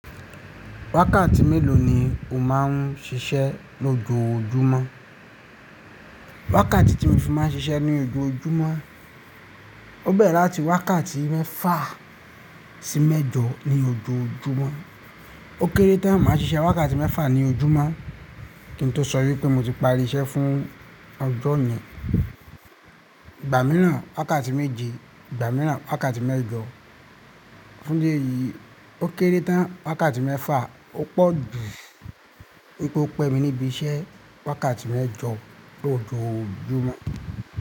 Wákàtí mélòó ni o máa ń ṣiṣẹ́ ní ojoojúmọ́? Wákàtí tí mo fi máa ń ṣiṣẹ́ ní ojoojúmọ́, ó bẹ̀rẹ̀ láti wákàtí mẹ́fà sí mẹ́jọ ní ojoojúmọ́. Ó kéré tán má ṣiṣẹ́ wákàtí mẹ́fà ní ojúmọ́, kí n tó sọ wípé mo ti pari iṣẹ́ fún ọjọ́ yẹn mìíràn wákàtí méje, ìgbà mìíràn wákàtí mẹ́jọ. Fún ìdí ẹ̀yìí, ó kéré tán wákàtí mẹ́fà, ó pọ̀ jù wípé ó pẹ́ mi níbi iṣẹ́ wákàtí mẹ́jọ lójoojúmọ́.